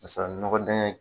Paseke a nɔgɔ tanɲan in.